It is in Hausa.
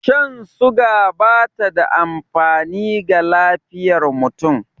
Shan suga bata da amfani ga lafiyar mutum